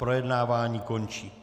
Projednávání končím.